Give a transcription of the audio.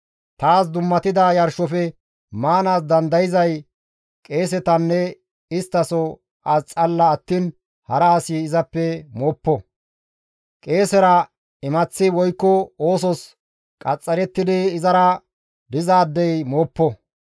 « ‹Taas dummatida yarshofe maanaas dandayzay qeesetanne isttaso as xalla attiin hara asi izappe mooppo; qeesera imaththi woykko oosos qaxxarettidi izara dizaadeyka mooppo.